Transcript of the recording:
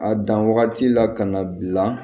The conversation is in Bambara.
A dan wagati la ka na bila